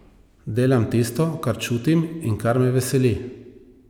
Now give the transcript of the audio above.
Delam tisto, kar čutim in kar me veseli.